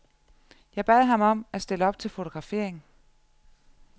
Jeg bad ham om at stille op til fotografering.